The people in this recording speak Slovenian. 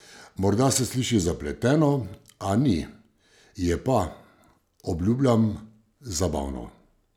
Morda se sliši zapleteno, a ni, je pa, obljubljam, zabavno.